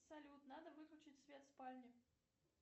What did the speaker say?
салют надо выключить свет в спальне